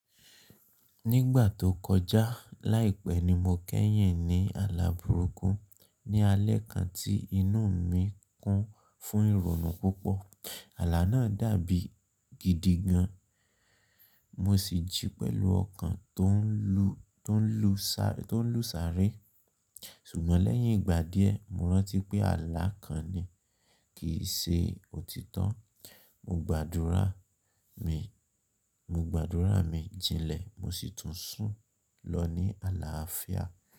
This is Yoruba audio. Nígbà tó kọjá láìpẹ́ ni mo kẹ́yìn ní ààlà burúkú ní alẹ́ kan tí inú mi kún fún ìrònú púpọ̀. Ààlà náà dàbí gidi gan, mo sì jí pẹ̀lú ọkàn tón lù sáré. Ṣùgbọ́n lẹ́yìn ìgbà díẹ̀, mo rántí pé ààlà kan ni, kì í ṣe òtítọ́. Mo gbàdúrà mi jinlẹ̀ mo sì tún sún lọ ní ààlà afia.